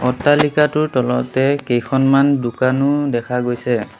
অট্টালিকাটোৰ তলতে কেইখনমান দোকানো দেখা গৈছে।